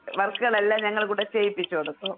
വർക്ക്കളെല്ലാം ഞങ്ങടെ കൂടെ ചെയ്യിപ്പിച്ച് കൊടുക്കും.